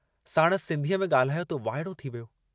साणुसि सिन्धीअ में गाल्हायो त वाइड़ो थी वियो।